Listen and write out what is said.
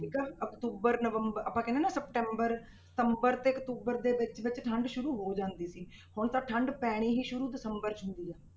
ਠੀਕ ਆ ਅਕਤੂਬਰ ਨਵੰਬਰ ਆਪਾਂ ਕਹਿੰਦੇ ਹਾਂ ਨਾ september ਸਤੰਬਰ ਤੇ ਅਕਤੂਬਰ ਦੇ ਵਿੱਚ ਵਿੱਚ ਠੰਢ ਸ਼ੁਰੂ ਹੋ ਜਾਂਦੀ ਸੀ, ਹੁਣ ਤਾਂ ਠੰਢ ਪੈਣੀ ਹੀ ਸ਼ੁਰੂ ਦਸੰਬਰ 'ਚ ਹੁੰਦੀ ਆ।